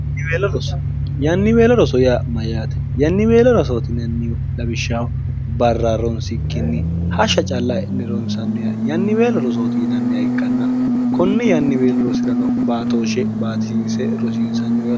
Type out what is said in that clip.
yanniweelo roso ya mayyaate yanniweelo rosootinannihu labishshaho barra ronsikkinni hashsha calla e'ne ronsanniha yanniweelo rosooti inanniha ikkanna kunni yanniweelo rosi'rano baatooshe baatiise rosiinsannioro